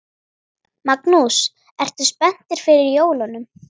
Magnús: Ertu spenntur fyrir jólunum?